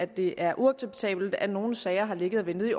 det er uacceptabelt at nogle sager har ligget og ventet